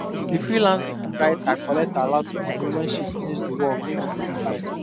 the freelance writer collect her last money when she finish the work and on time